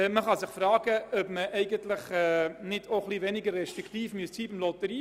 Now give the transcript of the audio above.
Man kann sich fragen, ob man nicht den Lotteriefonds beanspruchen sollte.